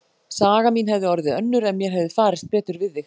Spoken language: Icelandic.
Saga mín hefði orðið önnur ef mér hefði farist betur við þig.